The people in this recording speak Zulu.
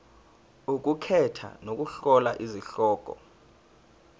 ukukhetha nokuhlola izihloko